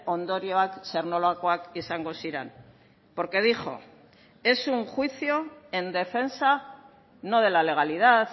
ondorioak zer nolakoak izango ziren porque dijo es un juicio en defensa no de la legalidad